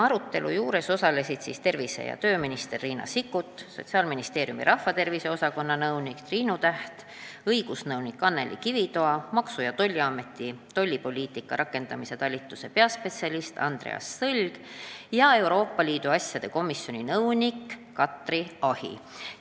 Arutelul osalesid tervise- ja tööminister Riina Sikkut, Sotsiaalministeeriumi rahvatervise osakonna nõunik Triinu Täht, õigusnõunik Anneli Kivitoa, Maksu- ja Tolliameti tollipoliitika rakendamise talituse peaspetsialist Andreas Sõlg ja Riigikogu Euroopa Liidu asjade komisjoni nõunik Katry Ahi.